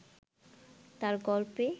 তাঁর গল্পে